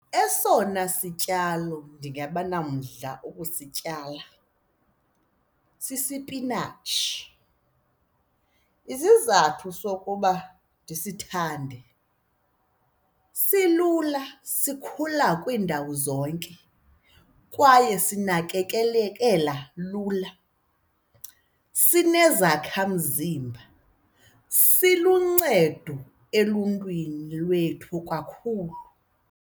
Esona sityalo ndingaba nomdla wokusityala sisipinatshi. Isizathu sokuba ndisithande silula sikhula kwiindawo zonke kwaye sinakekelekela lula, sinezakha mzimba, siluncedo eluntwini lwethu kakhulu.